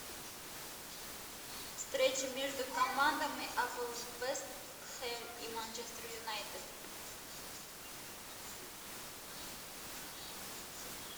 встреча между командами апл вест хэм и манчестер юнайтед